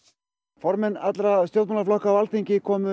formenn allra stjórnmálaflokka á Alþingi komu